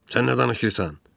Sən nə danışırsan?